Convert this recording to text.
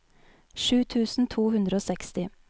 sju tusen to hundre og seksti